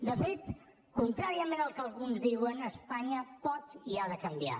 de fet contràriament al que alguns diuen espanya pot i ha de canviar